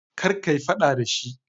Kar kayi fada da shi.